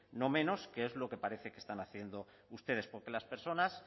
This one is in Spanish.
no menos que es lo que parece que están haciendo ustedes porque las personas